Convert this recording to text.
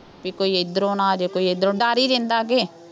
ਕਿ ਕੋਈ ਇੱਧਰੋ ਨਾ ਆ ਜਾਏ, ਕੋਈ ਇੱਧਰੋ, ਡਰ ਹੀ ਰਹਿੰਦਾ ਜੇ,